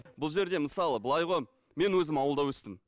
бұл жерде мысалы былай ғой мен өзім ауылда өстім